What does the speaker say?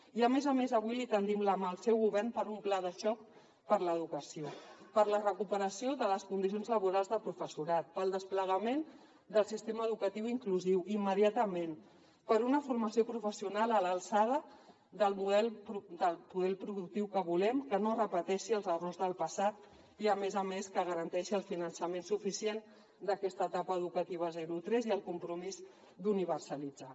i a més a més avui li tendim la mà al seu govern per a un pla de xoc per l’educació per la recuperació de les condicions laborals del professorat pel desplegament del sistema educatiu inclusiu immediatament per una formació professional a l’alçada del model productiu que volem que no repeteixi els errors del passat i a més a més que garanteixi el finançament suficient d’aquesta etapa educativa zero tres i el compromís d’universalitzar